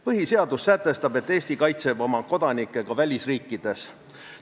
Põhiseadus sätestab, et Eesti kaitseb oma kodanikke ka välisriikides.